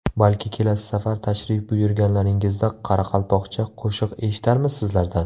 Balki kelasi safar tashrif buyurganlaringizda qoraqalpoqcha qo‘shiq eshitarmiz sizlardan?